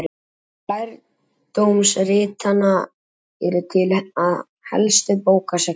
Mörg lærdómsritanna eru til á helstu bókasöfnum.